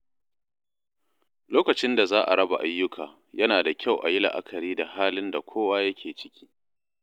Lokacin da za a raba ayyuka, yana da kyau a yi la’akari da halin da kowa yake ciki.